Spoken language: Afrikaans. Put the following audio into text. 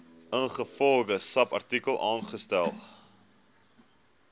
ingevolge subartikel aangestel